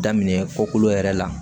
Daminɛ kokolo yɛrɛ la